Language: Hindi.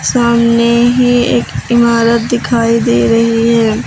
सामने ही एक इमारत दिखाई दे रही है।